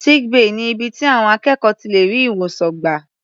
Sick bay ni ibi tí àwọn akẹ́kọ̀ọ́ ti lè rí ìwòsàn gbà.